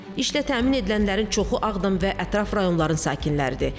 İşlə təmin edilənlərin çoxu Ağdam və ətraf rayonların sakinləridir.